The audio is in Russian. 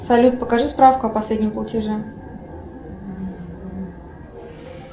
салют покажи справку о последнем платеже